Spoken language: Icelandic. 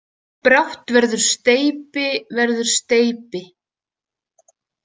Brátt verður steypi, verður steypi.